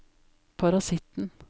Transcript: parasitten